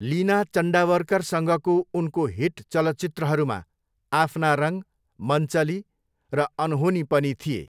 लिना चन्डावरकरसँगको उनको हिट चलचित्रहरूमा अपना रङ, मनचली र अनहोनी पनि थिए।